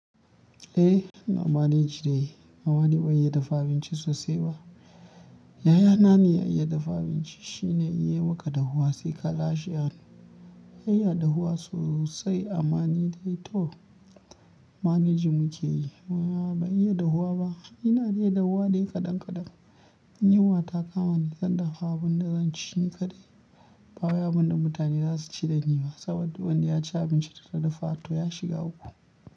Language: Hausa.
Eh, ina maneji dai. Amma ni ban iya dafa abinci sosai ba. Yaya na ne ya iya dafa abinci shine ya yi maka dahuwa sai ka lashe hannu. Ya iya dahuwa sosai, ama ni dai to maneji nake yi. Ama ban iya dahuwa ba ina dai dahuwa dai kaɗan kaɗan. In yuwa ta kama ni zan dafa abin da zan ci ni kaɗai. Ba wai abin da mutane za su ci da ni ma saboda wanda ya ci abinci da na dafa to ya shiga uku.